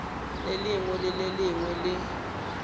lengwe le le lengwe le